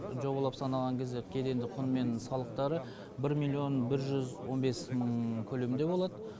жобалап санаған кезде кедендік құн мен салықтары бір миллион бір жүз он бес мың көлемінде болады